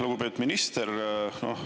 Lugupeetud minister!